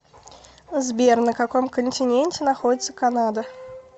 сбер на каком континенте находится канада